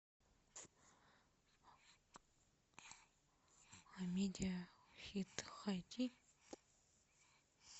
амедиа хит эйч ди